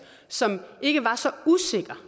som ikke var så usikker